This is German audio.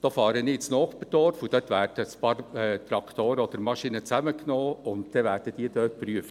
Da fahre ich ins Nachbarsdorf, und dort werden ein paar Traktoren oder Maschinen zusammengenommen und dort geprüft.